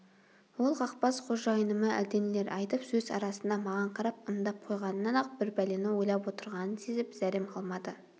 ол қақбас қожайыныма әлденелер айтып сөз арасында маған қарап ымдап қойғанынан-ақ бір пәлені ойлап отырғанын сезіп зәрем қалмады